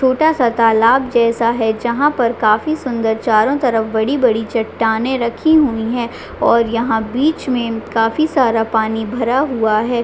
छोटा सा तालाब जैसा है जहां पर काफी सुन्दर चारो तरफ बड़ी बड़ी चट्टानें रखी हुई है और यहाँ बिच में काफी सारा पानी भरा हुआ है।